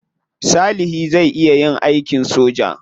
Salihi zai iya yin aikin soja.